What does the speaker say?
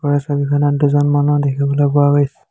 ওপৰৰ ছবিখনত দুজন মানুহ দেখিবলৈ পোৱা গৈছ--